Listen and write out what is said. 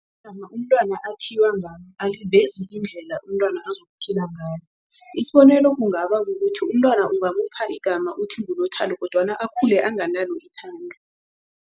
Igama umntwana athiywe ngalo alivezi indlela umntwana azokuphila ngayo. Isibonelo kungaba kukuthi umntwana ungamupha igama uthi nguNothando kodwana akhule anganalo ithando.